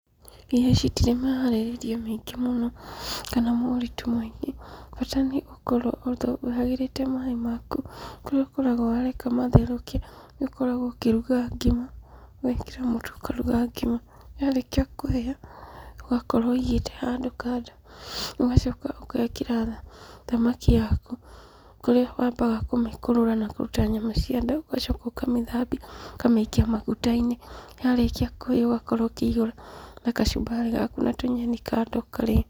Irio ici itirĩ mĩharĩrĩrie mĩingĩ mũno kana moritũ maingĩ, bata nĩ gũkorwo ũhagĩrĩte maĩ maku, kũrĩa ũkoragwo wareka matherũke, nĩũkoragwo ũkĩruga ngima ,ũgekĩra mũtu ũkaruga ngima. Yarĩkia kũhĩa, ũgakorwo ũigĩte handũ kando ũgacoka ũgekĩra thamaki yaku kũrĩa wambaga kũmĩkũrũra na kũruta nyama cianda, ũgacoka ũkamĩthambia ũkamĩikia maguta-inĩ. Yarĩkia kũhĩa ũkamĩihũra na kacumbarĩ gaku na tũnyeni kando ũkarĩa.